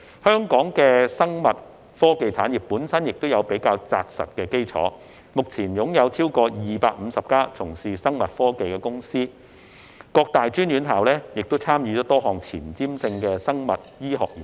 香港的生物科技產業本身已有較扎實的基礎，目前擁有超過250家從事生物科技的公司，各大專院校亦參與多項前瞻性的生物醫學研究。